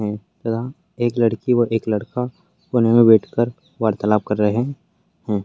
है तथा एक लड़की व एक लड़का कोने में बैठ कर वार्तालाप कर रहे हैं।